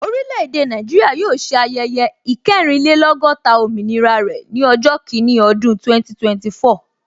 Orile-ede Naijiria yóò ṣe ayẹyẹ ikerinlelogota òmìnira rẹ ni ọjọ́ kini ọdún 2024